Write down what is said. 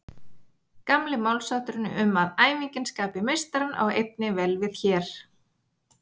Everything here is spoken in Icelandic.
Gamli málshátturinn um að æfingin skapi meistarann á einnig vel við hér.